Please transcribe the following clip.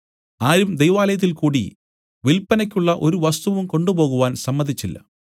ആരും ദൈവാലയത്തിൽകൂടി വില്പനയ്ക്കുള്ള ഒരു വസ്തുവും കൊണ്ടുപോകുവാൻ സമ്മതിച്ചില്ല